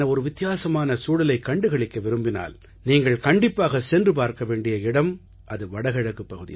வித்தியாசமான சூழலைக் கண்டுகளிக்க விரும்பினால் நீங்கள் கண்டிப்பாகச் சென்று பார்க்க வேண்டிய இடம் என்றால் அது வடகிழக்குப் பகுதி தான்